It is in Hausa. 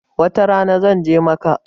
Wata rana zan je Makkah